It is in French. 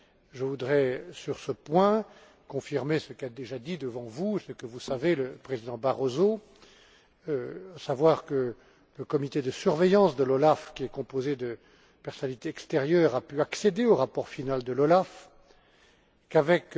Je voudrais, sur ce point, confirmer ce qu'a déjà dit devant vous et ce que vous savez le Président Barroso, à savoir que le comité de surveillance de l'OLAF, composé de personnalités extérieures, a pu accéder au rapport final de l'OLAF, qu'avec